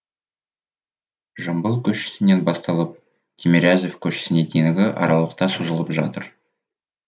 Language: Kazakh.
жамбыл көшесінен басталып тимирязев көшесіне дейінгі аралықта созылып жатыр